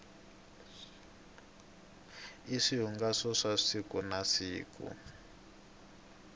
i swihungaso swa siku na siku